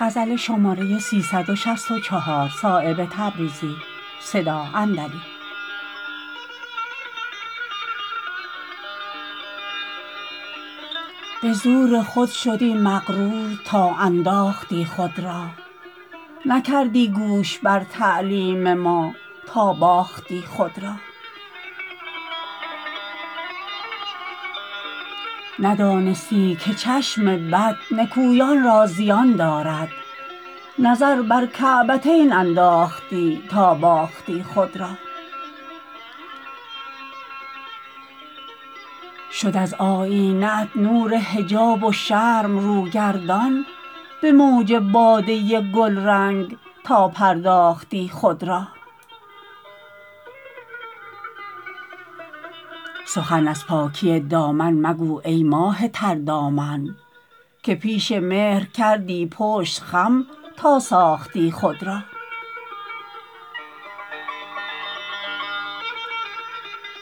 به زور خود شدی مغرور تا انداختی خود را نکردی گوش بر تعلیم ما تا باختی خود را ندانستی که چشم بد نکویان را زیان دارد نظر بر کعبتین انداختی تا باختی خود را شد از آیینه ات نور حجاب و شرم رو گردان به موج باده گلرنگ تا پرداختی خود را سخن از پاکی دامن مگو ای ماه تردامن که پیش مهر کردی پشت خم تا ساختی خود را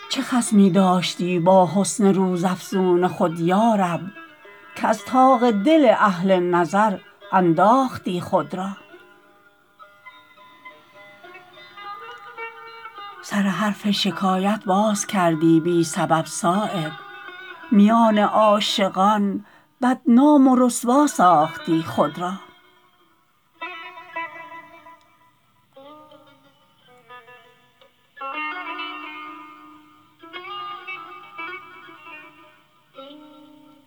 چه خصمی داشتی با حسن روز افزون خود یارب که از طاق دل اهل نظر انداختی خود را سر حرف شکایت باز کردی بی سبب صایب میان عاشقان بدنام و رسوا ساختی خود را